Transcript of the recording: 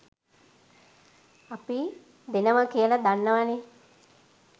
අපි දෙනව කියල දන්නවනේ.